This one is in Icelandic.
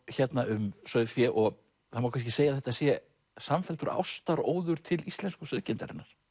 hérna um sauðfé og það má kannski segja að þetta sé samfelldur til íslensku sauðkindarinnar